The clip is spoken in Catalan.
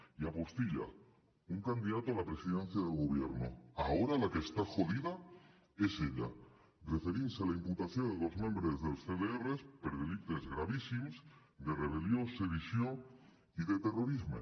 y apostilla un candidato a la presidencia del gobierno ahora la que está jodida es ella referint se a la imputació de dos membres dels cdrs per delictes gravíssims de rebel·lió sedició i de terrorisme